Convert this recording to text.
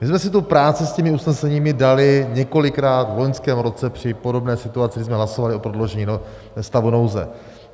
My jsme si tu práci s těmi usneseními dali několikrát v loňském roce při podobné situaci, kdy jsme hlasovali o prodloužení stavu nouze.